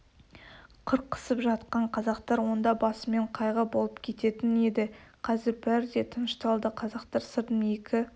қырқысып жатқан қазақтар онда басымен қайғы болып кететін еді қазір бәрі де тынышталды қазақтар сырдың екі